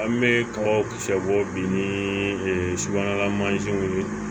An bɛ kabaw kisɛ bɔ bi ni subahanalamansiw ye